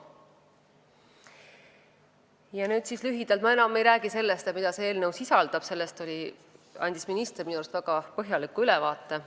Ma ei räägi enam sellest, mida see eelnõu sisaldab – sellest andis minister minu arust väga põhjaliku ülevaate.